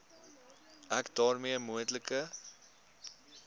ek daarmee moontlike